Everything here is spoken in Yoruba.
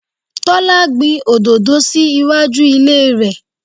Tọ́lá gbìn òdòdó sì iwájú ilé rẹ.